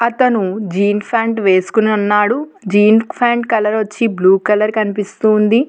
అతను jeans pant వేసుకొని ఉన్నాడు జీన్స్ ప్యాంట్ కలర్ వచ్చి బ్లూ కలర్ కనిపిస్తోంది.